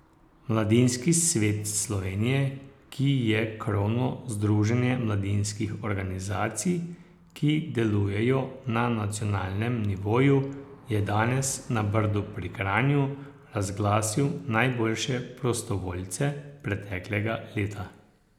Mladinski svet Slovenije, ki je krovno združenje mladinskih organizacij, ki delujejo na nacionalnem nivoju, je danes na Brdu pri Kranju razglasil najboljše prostovoljce preteklega leta.